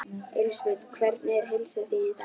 Elísabet: Hvernig er heilsa þín í dag?